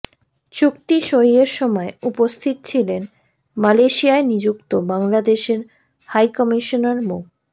চুক্তি সইয়ের সময় উপস্থিত ছিলেন মালয়েশিয়ায় নিযুক্ত বাংলাদেশের হাইকমিশনার মো